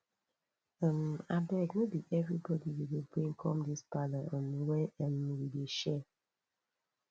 um abeg no be everybodi you go bring come dis parlour um wey um we dey share